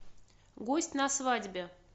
гость на свадьбе